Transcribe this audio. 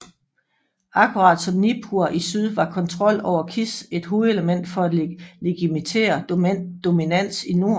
Akkurat som Nippur i syd var kontrol over Kish et hovedelement for at legitimere dominans i nord